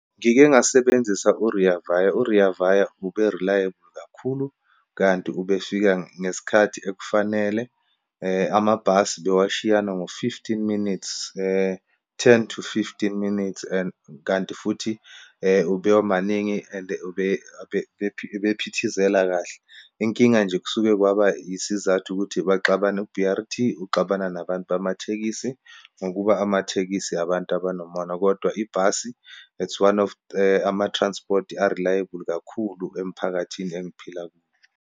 Ngike ngasebenzisa u-Rea Vaya. U-Rea Vaya ube reliable kakhulu, kanti ubefika ngesikhathi ekufanele. Amabhasi bewashiyana ngo-fifteen minutes, ten to fifteen minutes, and kanti futhi ube wamaningi and ube bephithizela kahle. Inkinga nje, kusuke kwaba isizathu ukuthi baxabane u-B_R_T uxabana nabantu bamathekisi ngokuba amathekisi abantu abanomona. Kodwa ibhasi it's one of ama-transport a-reliable kakhulu emphakathini engiphila kuwo.